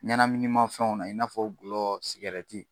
Ɲanaminima fɛnw na, i n'a fɔ gulɔ